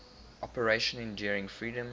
operation enduring freedom